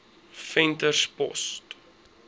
venterspost